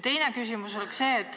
Teine küsimus.